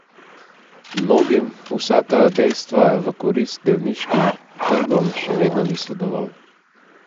Mnogim, vsa ta dejstva v korist delniškim trgom, še vedno niso dovolj.